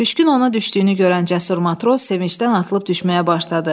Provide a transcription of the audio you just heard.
Püşkün ona düşdüyünü görən cəsur matros sevincdən atılıb düşməyə başladı.